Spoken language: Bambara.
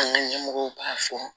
An ka ɲɛmɔgɔw b'a fɔ